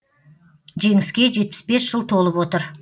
жеңіске жетпіс бес жыл толып отыр